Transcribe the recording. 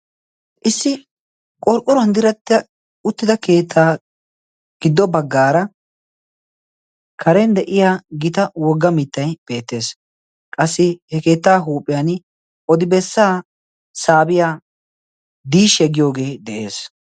Issi qorqquruan ddirattida uttida keettaa giddo baggaara karen de'iya gita wogga mittai beettees qassi he keettaa huuphiyan odibessaa saabiyaa diishe giyoogee de'ees.